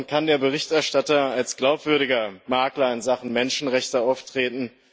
Dann kann der Berichterstatter als glaubwürdiger Makler in Sachen Menschenrechte auftreten.